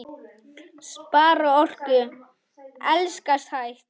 Spara orku. elskast hægt!